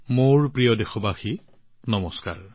মোৰ মৰমৰ দেশবাসীসকল নমস্কাৰ